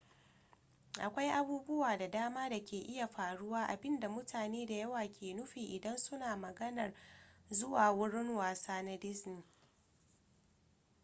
akwai abubuwa da dama da ke iya faruwa abinda mutane da yawa ke nufi idan su na maganar zuwa wurin wasa na disney